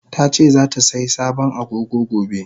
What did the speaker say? Tace zatasai sabon Agogo gobe.